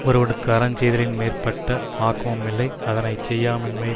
ஒருவனுக்கு அறஞ் செய்தலின் மேற்பட்ட ஆக்கமுமில்லை அதனை செய்யாமையின்